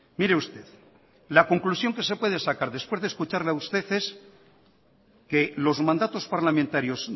mire usted la conclusión que se puede sacar después de escucharle a usted es que los mandatos parlamentarios